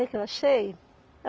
O que que eu achei?